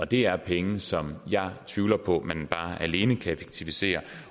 det er penge som jeg tvivler på at man alene kan effektivisere